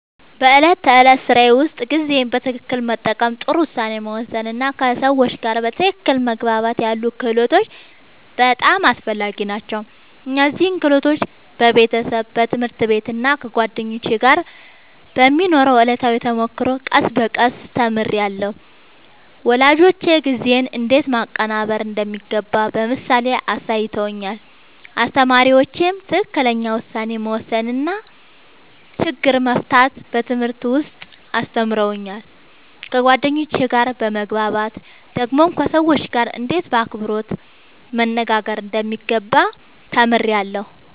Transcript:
በዕለት ተዕለት ሥራዬ ውስጥ ጊዜን በትክክል መጠቀም፣ ጥሩ ውሳኔ መወሰን እና ከሰዎች ጋር በትክክል መግባባት ያሉ ክህሎቶች በጣም አስፈላጊ ናቸው። እነዚህን ክህሎቶች በቤተሰብ፣ በትምህርት ቤት እና ከጓደኞች ጋር በሚኖረው ዕለታዊ ተሞክሮ ቀስ በቀስ ተምሬያለሁ። ወላጆቼ ጊዜን እንዴት ማቀናበር እንደሚገባ በምሳሌ አሳይተውኛል፣ አስተማሪዎቼም ትክክለኛ ውሳኔ መወሰን እና ችግር መፍታት በትምህርት ውስጥ አስተምረውኛል። ከጓደኞቼ ጋር በመግባባት ደግሞ ከሰዎች ጋርእንዴት በአክብሮት መነጋገር እንደሚገባ ተምሬያለሁ።